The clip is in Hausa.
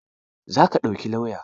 Za ka ɗauki lauya?